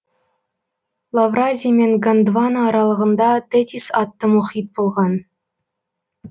лавразия мен гондвана аралығында тетис атты мұхит болған